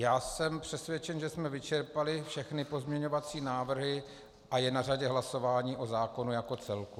Já jsem přesvědčen, že jsme vyčerpali všechny pozměňovací návrhy a je na řadě hlasování o zákonu jako celku.